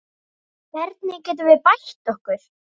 Hvernig getum við bætt okkur?